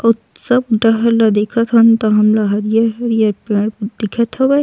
आऊ सब डहर ले देखत हन त हमला हरियर-हरियर पेड़ दिखत हवय।